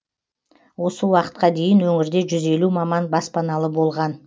осы уақытқа дейін өңірде жүз елу маман баспаналы болған